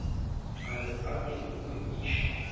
a re ake uke ichi